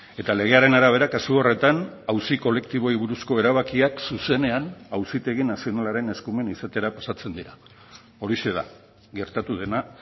eta legearen arabera kasu horretan auzi kolektiboei buruzko erabakiak zuzenean auzitegi nazionalaren eskumen izatera pasatzen dira horixe da gertatu dena